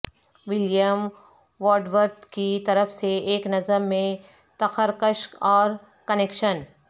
William Wordsworth کی طرف سے ایک نظم میں تخرکشک اور کنکشن